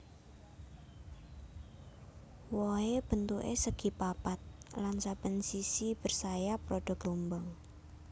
Wohé bentuké segi papat lan saben sisi bersayap rada gelombang